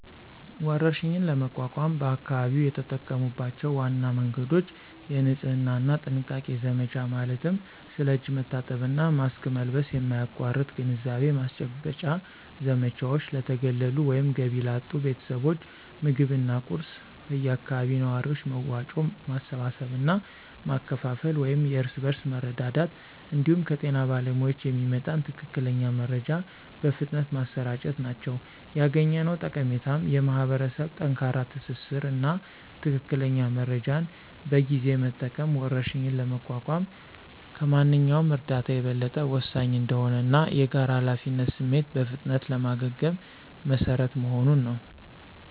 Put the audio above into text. ወረርሽኝን ለመቋቋም በአካባቢው የተጠቀሙባቸው ዋና መንገዶች: የንጽህና እና ጥንቃቄ ዘመቻ ማለትም ስለ እጅ መታጠብ እና ማስክ መልበስ የማያቋርጥ ግንዛቤ ማስጨበጫ ዘመቻዎች፣ ለተገለሉ ወይም ገቢ ላጡ ቤተሰቦች ምግብና ቁሳቁስ በአካባቢው ነዋሪዎች መዋጮ ማሰባሰብ እና ማከፋፈል (የእርስ በርስ መረዳዳት) እንዲሁም ከጤና ባለሙያዎች የሚመጣን ትክክለኛ መረጃ በፍጥነት ማሰራጨት ናቸው። ያገኘነው ጠቀሜታም የማኅበረሰብ ጠንካራ ትስስር እና ትክክለኛ መረጃን በጊዜ መጠቀም ወረርሽኝን ለመቋቋም ከማንኛውም እርዳታ የበለጠ ወሳኝ እንደሆነ እና የጋራ ኃላፊነት ስሜት በፍጥነት ለማገገም መሰረት መሆኑን ነው።